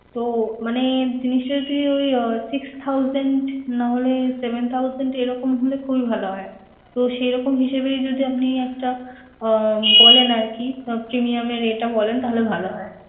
তো মানে জিনিসটা যদি ওই আহ six thousand না হলে seven thousand এরকম হলে খুবই ভালো হয়। তো সেরকম হিসেবেই যদি আপনি একটা আহ বলেন আরকি তো premium এর এটা বলেন তাহলে ভালো হয়।